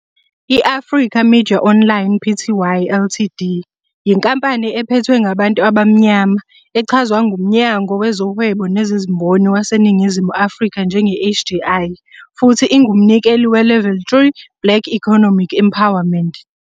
I-Africa Media Online, Pty, Ltd.yinkampani ephethwe ngabantu abamnyama, echazwa nguMnyango Wezohwebo Nezezimboni waseNingizimu Afrika njenge-HDI, futhi ingumnikeli weLevel 3 Black Economic Empowerment.